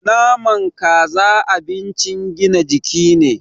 Naman Kaza abincin gina jiki ne